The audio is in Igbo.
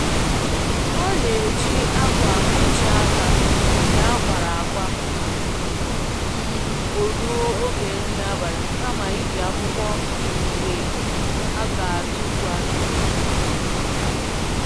Ọ n'eji akwa nhicha aka nke akwara akwa m'oruo oge nri abali, kama i ji akwukwọ nke a g'atufu atufu